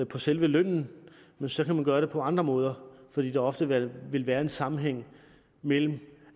på selve lønnen så kan man gøre det på andre måder fordi der ofte vil vil være en sammenhæng mellem